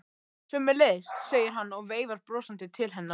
Sömuleiðis, segir hann og veifar brosandi til hennar.